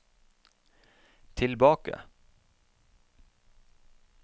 tilbake